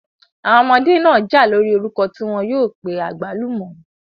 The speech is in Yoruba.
Àwọn ọmọdé náà jà lórí orúkọ tí wọ́n yóò pé àgbálùmọ̀.